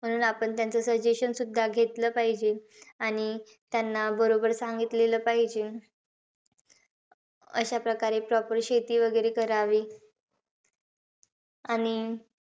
म्हणून आपण त्यांचं suggestion सुद्धा घेतलं पाहिजे. आणि त्यांना बरोबर सांगितलेलं पाहिजे. अं अशा प्रकारे proper शेती वैगरे करावी. आणि,